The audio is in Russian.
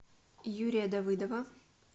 юрия давыдова